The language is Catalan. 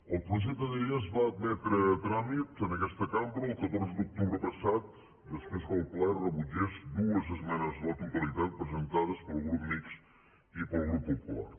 el projecte de llei es va admetre a tràmit en aquesta cambra el catorze d’octubre passat després que el ple rebutgés dues esmenes a la totalitat presentades pel grup mixt i pel grup popular